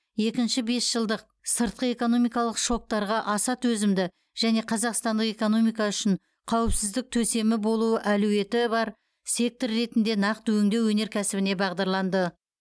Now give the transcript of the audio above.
екінші бесжылдық сыртқы экономикалық шоктарға аса төзімді және қазақстандық экономика үшін қауіпсіздік төсемі болуы әлеуеті бар сектор ретінде нақты өңдеу өнеркәсібіне бағдарланды